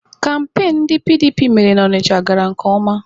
Kampain ndị PDP mere na Ọnịcha gara nke ọma